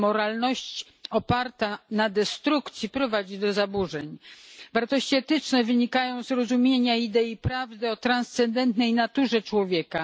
A moralność oparta na destrukcji prowadzi do zaburzeń. Wartości etyczne wynikają z rozumienia idei prawdy o transcendentalnej naturze człowieka.